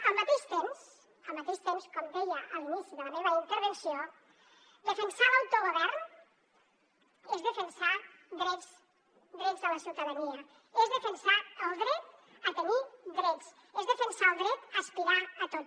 al mateix temps al mateix temps com deia a l’inici de la meva intervenció defensar l’autogovern és defensar drets de la ciutadania és defensar el dret a tenir drets és defensar el dret a aspirar a tot